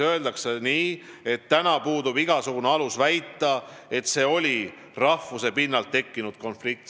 Öeldi, et praegu puudub igasugune alus väita, et see oli rahvuse pinnalt tekkinud konflikt.